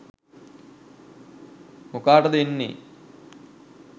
මොකාටද එන්නෙ